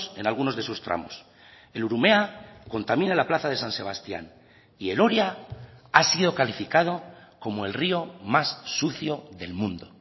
en algunos de sus tramos el urumea contamina la plaza de san sebastián y el oria ha sido calificado como el río más sucio del mundo